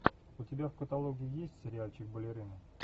у тебя в каталоге есть сериальчик балерина